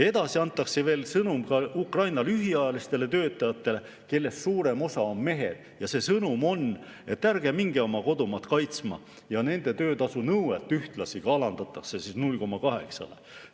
Edasi antakse veel sõnum ka Ukraina lühiajalistele töötajatele, kellest suurem osa on mehed, ja see sõnum on, et ärge minge oma kodumaad kaitsma, ja nende töötasunõuet ühtlasi alandatakse 0,8-le.